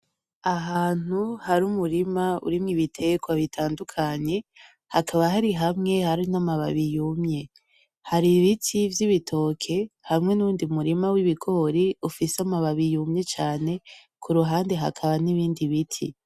Ahantu hari umurima urimwo ibiterwa bitandukanye, hakaba hari hamwe hari namababi yumye. Hari ibiti vyibitoke hamwe nuwundi murima wibigori ufise amababi yumye cane, kuruhande hakaba nibindi biti.